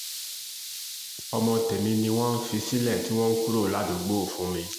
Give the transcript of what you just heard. ọmọ tèmi ni wọ́n fi sílẹ̀ tí wọ́n kúrò ládùúgbò fún mi